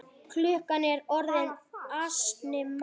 Klukkan er orðin ansi margt.